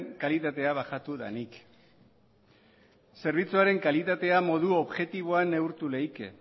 kalitatea bajatu danik zerbitzuaren kalitatea modu objektiboan neurtu leike